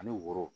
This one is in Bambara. Ani woro